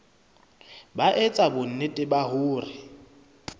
ba etsa bonnete ba hore